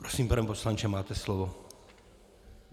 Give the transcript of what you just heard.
Prosím, pane poslanče, máte slovo.